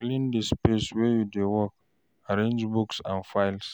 Clean di space wey you dey work, arrange books and files